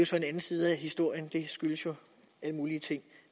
så en anden side af historien det skyldes jo alle mulige ting